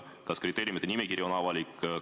Kas kriteeriumite nimekiri on avalik?